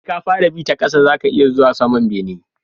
Sai ka fara bi ta ƙasa zaka iya zuwa saman bene